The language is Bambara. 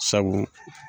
Sabu